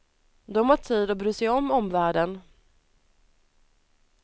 De har tid att bry sig om omvärlden.